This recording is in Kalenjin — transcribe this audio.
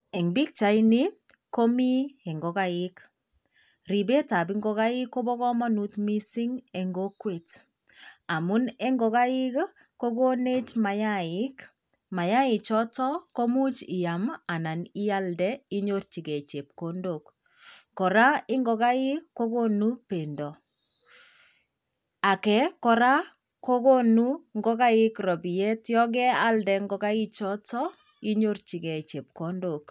Eng pichaini komi ingigaik. Ribetab ingogaik koba kamanut mising eng kokwet, amun ingogaik kokonech mayaik. Mayaik choto, komuch iyam anan ialde unyorchige chepkondok. Kora, ingogaik kogonu bendo. Age kora kogunu ingogaik ropiet yon kealde ingogaik choto inyorchigei chepkondok.